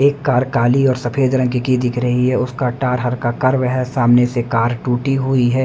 एक कार काली और सफेद रंग की की दिख रही है उसका टार हरका कर्व है सामने से कार टूटी हुई है।